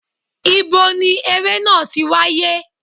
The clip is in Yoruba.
Ibo ni eré náà ti wáyé?